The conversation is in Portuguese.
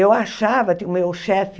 Eu achava que o meu chefe